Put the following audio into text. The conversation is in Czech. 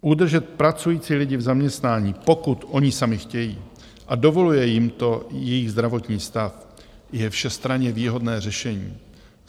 Udržet pracující lidi v zaměstnání, pokud oni sami chtějí a dovoluje jim to jejich zdravotní stav, je všestranně výhodné řešení.